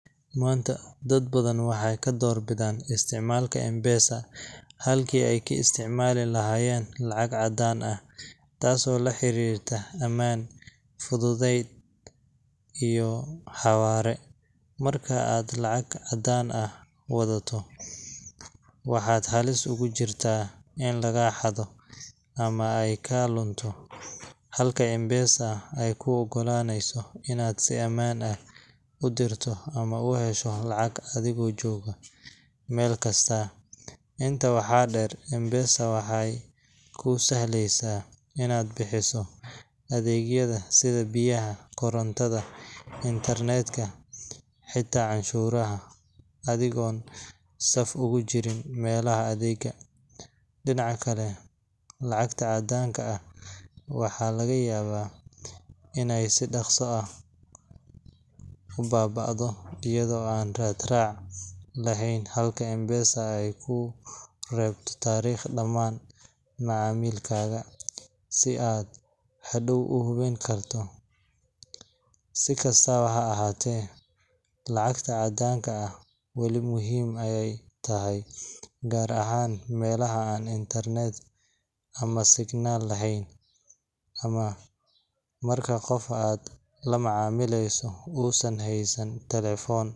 Maanta, dad badan waxay ka doorbidaan isticmaalka M-PESA halkii ay ka isticmaali lahaayeen lacag caddaan ah, taasoo la xiriirta ammaan, fudayd iyo xawaare. Marka aad lacag caddaan ah wadataa, waxaad halis ugu jirtaa in lagaa xado, ama ay kaa lunto, halka M-PESA ay kuu oggolaaneyso inaad si ammaan ah u dirto ama u hesho lacag adigoo jooga meel kasta. Intaa waxaa dheer, M-PESA waxay kuu sahlaysaa inaad bixiso adeegyada sida biyaha, korontada, internet-ka, xitaa canshuuraha, adigoon saf ugu jirin meelaha adeegga. Dhinaca kale, lacagta caddaanka ah waxaa laga yaabaa inay si dhakhso ah u baaba'do iyadoo aan raad raac lahayn, halka M-PESA ay kuu reebto taariikh dhammaan macaamilkaaga si aad hadhow u hubin karto. Si kastaba ha ahaatee, lacagta caddaanka ah wali muhiim ayay tahay, gaar ahaan meelaha aan internet ama signal lahayn, ama marka qofka aad la macaamileyso uusan haysan telefoon.